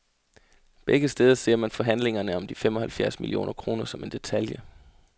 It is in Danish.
Begge steder ser man forhandlingerne om de fem og halvfjerds millioner kroner som en detalje.